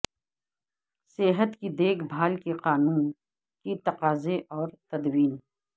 صحت کی دیکھ بھال کے قانون کی تقاضے اور تدوین